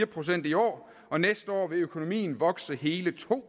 procent i år og næste år vil økonomien vokse hele to